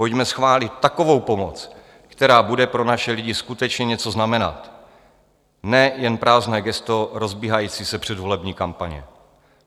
Pojďme schválit takovou pomoc, která bude pro naše lidi skutečně něco znamenat, ne jen prázdné gesto rozbíhající se předvolební kampaně.